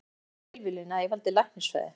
Það var algjör tilviljun að ég valdi læknisfræði.